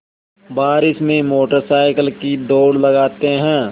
बारिश में motor cycle की दौड़ लगाते हैं